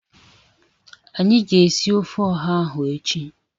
Anyị ga-esi ofe ọha ahụ echi